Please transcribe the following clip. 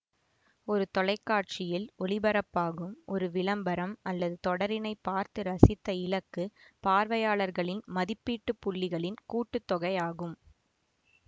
ஒரு தொலைக்காட்சியில் ஒளிபரப்பாகும் ஒரு விளம்பரம் அல்லது தொடரினை பார்த்து ரசித்த இலக்கு பார்வையாளர்களின் மதிப்பீட்டு புள்ளிகளின் கூட்டு தொகை ஆகும்